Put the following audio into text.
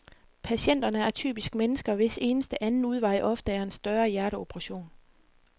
Patienterne er typisk mennesker, hvis eneste anden udvej ofte er en større hjerteoperation.